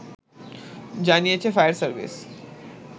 জানিয়েছে fire service